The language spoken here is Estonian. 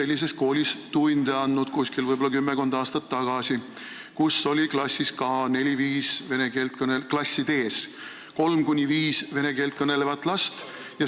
Ma olen isegi kümmekond aastat tagasi tunde andnud sellises koolis, kus oli klassides kolm kuni viis vene keelt kõnelevat last.